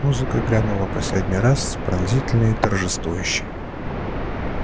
музыка грянула последний раз пронзительно и торжествующе